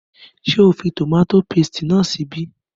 Ṣé o fi tòmátò paste náà sí ibí?